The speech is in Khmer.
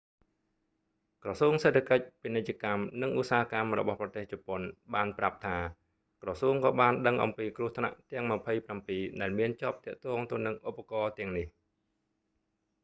ក្រសួងសេដ្ឋកិច្ច ពាណិជ្ជកម្ម និងឧស្សាហកម្មរបស់ប្រទេសជប៉ុន meti បានប្រាប់ថា ក្រសួងក៏បានដឹងអំពីគ្រោះថ្នាក់ទាំង 27 ដែលមានជាប់ទាក់ទងទៅនឹងឧបករណ៍ទាំងនេះ